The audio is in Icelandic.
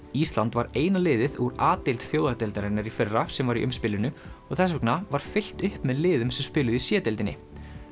ísland var eina liðið úr a deild Þjóðadeildarinnar í fyrra sem var í og þess vegna var fyllt upp með liðum sem spiluðu í c deildinni